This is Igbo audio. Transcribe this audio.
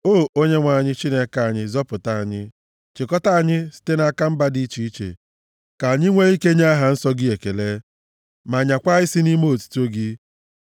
O Onyenwe anyị Chineke anyị, zọpụta anyị, chịkọta anyị site nʼaka mba dị iche iche, ka anyị nwee ike nye aha nsọ gị ekele ma nyaakwa isi nʼime otuto gị.